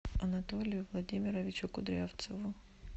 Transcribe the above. анатолию владимировичу кудрявцеву